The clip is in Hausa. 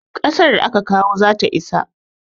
Ƙasar da aka kawo zata isa.